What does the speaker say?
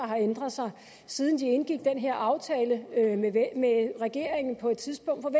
har ændret sig siden de indgik den her aftale med regeringen på et tidspunkt